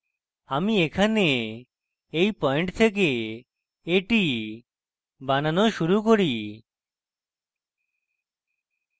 আমি এখানে এই পয়েন্ট থেকে এটি বানানো শুরু করি